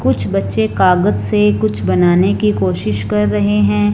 कुछ बच्चे कागज से कुछ बनाने की कोशिश कर रहे हैं।